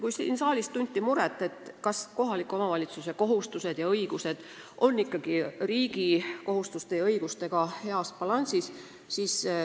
Siin saalis tunti muret, kas kohaliku omavalitsuse kohustused ja õigused ikka on riigi kohustuste ja õigustega balansis.